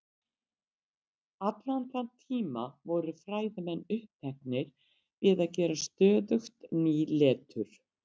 Litur stjarna fer eftir hitastigi þeirra.